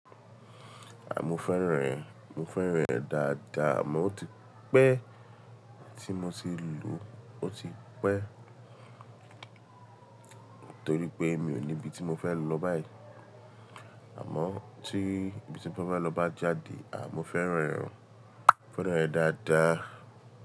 À, mo fẹ́ran rẹ̀, mo fẹ́ran rẹ̀ dáadáa àmọ́ ó ti pẹ́ tí mo ti lò ó ti pẹ́. Nítorí pé mi ò ní ibi tí mo fẹ́ lọ báyìí. Àmọ́ tí ibi tí mo fẹ́ lọ bá jáde, à mo fẹ́ran rẹ̀, mo fẹ́ran rẹ̀ dáadáa.